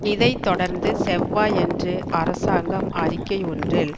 இதை தொடர்ந்து செவ்வாயன்று அரசாங்கம் அறிக்கை ஒன்றில்